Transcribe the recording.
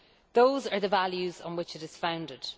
Those are the values on which it is founded.